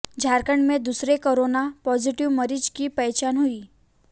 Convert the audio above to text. झारखण्ड में दूसरे corona positive मरीज की पहचान हुई